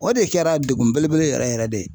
O de kɛra degun belebele yɛrɛ yɛrɛ de ye.